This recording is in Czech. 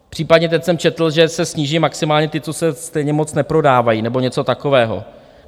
Případně teď jsem četl, že se sníží maximálně ty, co se stejně moc neprodávají nebo něco takového.